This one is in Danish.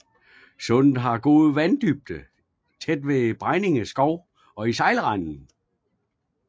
Sundet har god vanddybde tæt ved Bregninge Skov og i sejlrenden